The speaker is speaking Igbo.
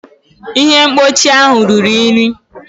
Ihe mkpuchi ahụ ruru unyi.